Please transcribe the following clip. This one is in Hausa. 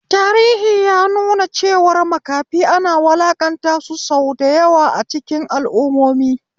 Tarihi ya nuna cewa makafi ana wulaƙanta sau da yawa a cikin al'ummomin.